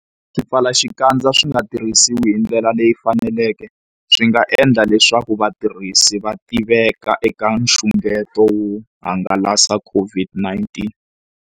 Swipfalaxikandza swi nga tirhisiwi hi ndlela leyi faneleke, swi nga endla leswaku vatirhisi va tiveka eka nxungeto wo hangalasa COVID-19.